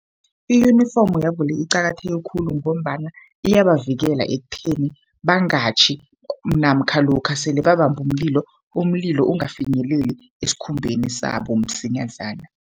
I-uniform yabo le iqakatheke khulu, ngombana iyabavikela ekutheni bangatjhi. Namkha lokha sele babambe umlilo, umlilo ungafinyeleli esikhumbeni sabo msinyazana.